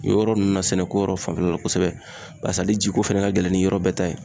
Yɔrɔ nunnu na, sɛnɛ ko yɛrɛ fanfɛla la kosɛbɛ. Barisa ale ji ko fɛnɛ ka gɛlɛn ni yɔrɔ bɛɛ ta ye.